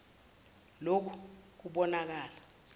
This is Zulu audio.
l oku kubonakala